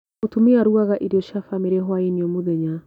Mũtumia arugaga irio cia bamĩrĩ hwainĩ o mũthenya.